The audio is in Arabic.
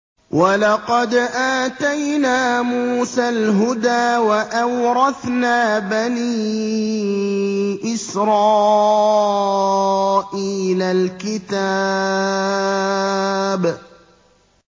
وَلَقَدْ آتَيْنَا مُوسَى الْهُدَىٰ وَأَوْرَثْنَا بَنِي إِسْرَائِيلَ الْكِتَابَ